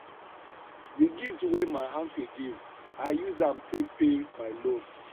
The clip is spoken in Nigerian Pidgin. the gift wey my aunti give i use am take pay my loan